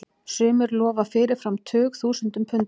Sumir lofa fyrirfram tugþúsundum punda.